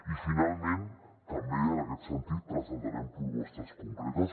i finalment també en aquest sentit presentarem propostes concretes